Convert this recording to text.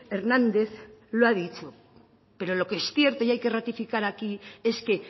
hernández lo ha dicho pero lo que sí que hay que ratificar aquí es que